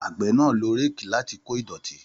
Àgbẹ̀ náà lo réèkì láti kó ìdọ̀tí